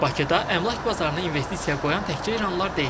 Bakıda əmlak bazarına investisiya qoyan təkcə iranlılar deyil.